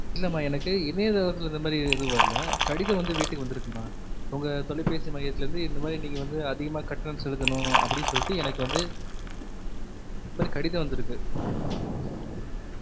இல்லா மா எனக்கு இணையதளத்துல இந்த மாரி எதும் வரல, கடிதம் வந்து வீட்டுக் வந்து இருக்குமா, உங்க தொலைபேசி மையத்துல இருந்து இந்தமாரி நீங்க வந்து அதிகமா கட்டணம் செலுத்தணு அப்புடினு சொல்லிட்டு எனக்கு வந்து ஒரு கடிதம் வந்து இருக்கு